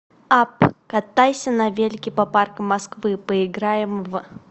апп катайся на велике по паркам москвы поиграем в